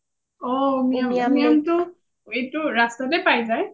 অ উমিয়াম টো এটো ৰাস্তাতে পাই যাই